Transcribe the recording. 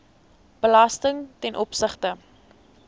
belasting ten opsigte